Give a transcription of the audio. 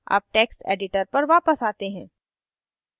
अब text editor पर वापस आते हैं